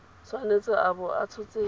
tshwanetse a bo a tshotse